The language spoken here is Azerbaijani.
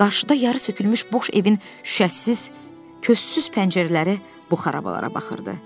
Qarşıda yarı sökülmüş boş evin şüşəsiz, kössüz pəncərələri bu xarabalara baxırdı.